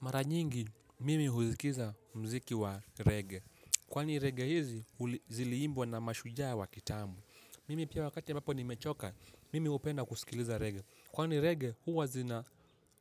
Mara nyingi, mimi husikiza mziki wa rege. Kwani rege hizi, ziliimbwa na mashujaa wa kitambo. Mimi pia wakati ambapo nimechoka, mimi huwa napenda kusikiliza rege. Kwani rege, huwa zina